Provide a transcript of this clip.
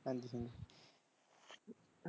ਹਾਂਜੀ ਹਾਂਜੀ।